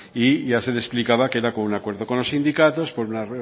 y ya se le explicaba que era un acuerdo con los sindicatos por una